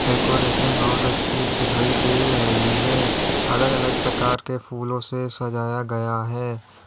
Decoration बहुत अच्छी दिखाई दे रही है। अलग-अलग प्रकार के फूलों से सजाया गया है।